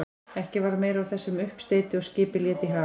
Ekki varð meira úr þessum uppsteyti og skipið lét í haf.